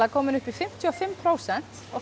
komið upp í fimmtíu og fimm prósent og